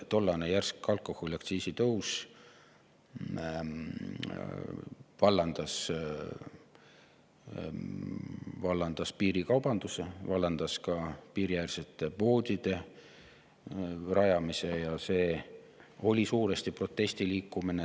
Tollane järsk alkoholiaktsiisi tõus vallandas piirikaubanduse, vallandas ka piiriäärsete poodide rajamise, ja see oli suuresti protestiliikumine.